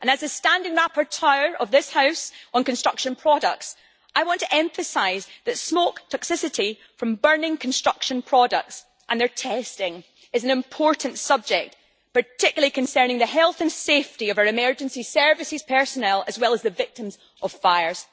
As a standing rapporteur of this House on construction products, I want to emphasise that smoke toxicity from burning construction products and their testing is an important subject, particularly concerning the health and safety of our emergency services personnel, as well as the victims of fires.